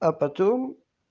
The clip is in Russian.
а потом